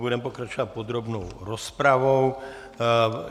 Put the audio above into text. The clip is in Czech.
Budeme pokračovat podrobnou rozpravou.